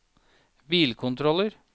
bilkontroller